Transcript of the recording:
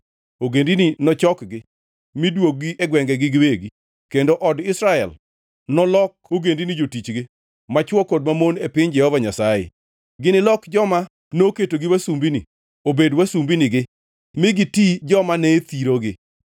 Ogendini nochokgi mi duog-gi e gwengegi giwegi. Kendo od Israel nolok ogendini jotichgi, machwo kod mamon e piny Jehova Nyasaye. Ginilok joma noketogi wasumbini, obed wasumbinigi mi giti joma ne thirogi.